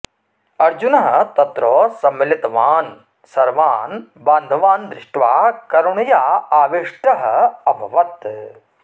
अर्जुनः तत्र सम्मिलितान् सर्वान् बान्धवान् दृष्ट्वा करुणया आविष्टः अभवत्